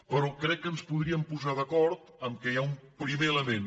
però crec que ens podríem posar d’acord que hi ha un primer ele·ment